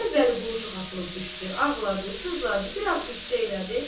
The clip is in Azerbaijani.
Əvvəl Vəliqulu çox atılıb düşdü, ağladı, sızladı, biraz qüssə elədi.